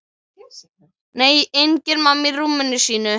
Nei, engin mamma í rúminu sínu.